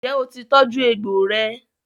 Ǹjẹ́ o ti tọ́jú egbò rẹ?